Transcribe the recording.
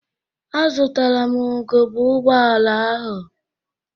Azụtaram ugegbe ụgbọala ahụ.